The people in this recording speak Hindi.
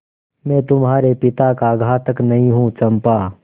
मैं तुम्हारे पिता का घातक नहीं हूँ चंपा